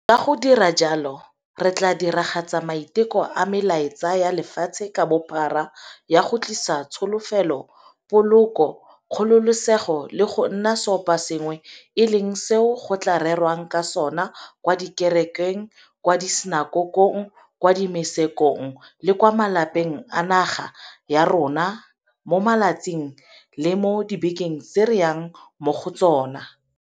Ka go dira jalo re tla diragatsa maiteko a melaetsa ya lefatshe ka bophara ya go tlisa tsholofelo, poloko, kgololesego le go nna seoposengwe e leng seo go tla rerwang ka sona kwa dikerekeng, kwa disinakokong, kwa dimosekong le kwa malapeng a naga ya rona mo matsatsing le mo dibekeng tse re yang mo go tsona.